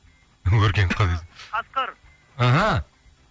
өркен қ дейді қасқыр мхм